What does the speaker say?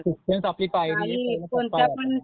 म्हणजे शिक्षणच आपली पायरी.